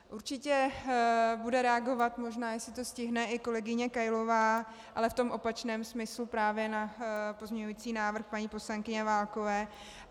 Určitě bude reagovat, možná jestli to stihne, i kolegyně Kailová, ale v tom opačném smyslu právě, na pozměňující návrh paní poslankyně Válkové.